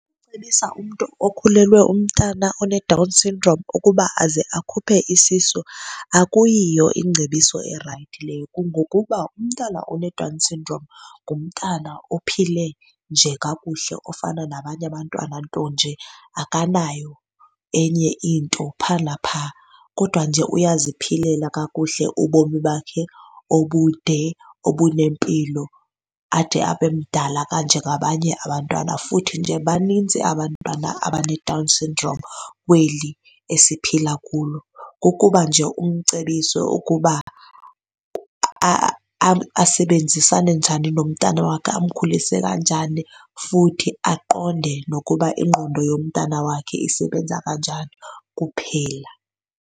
Cebisa umntu okhulelweyo umntana oneDown syndrome ukuba aze akhuphe isisu akuyiyo iingcebiso erayithi leyo. Kungokuba umntana oneDown syndrome ngumtana ophile nje kakuhle ofana nabanye abantwana, nto nje akanayo enye into phaa naphaa kodwa nje uyaziphilela kakuhle ubomi bakhe obude obunempilo ade abe mdala kanje ngabanye abantwana. Futhi nje baninzi abantwana abaneDown syndrome kweli esiphila kulo kukuba nje umcebise ukuba asebenzisane njani nomntana wakhe amkhulise kanjani futhi aqonde nokuba ingqondo yomntana wakhe isebenza kanjani kuphela.